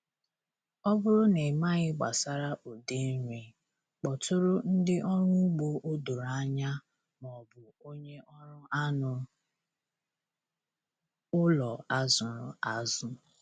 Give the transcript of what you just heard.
Ọ bụrụ na ịmaghị gbasara ụdị nri, kpọtụrụ ndị ọrụ ugbo o doro anya maọbụ onye ọrụ anụ ụlọ a zụrụ azụ.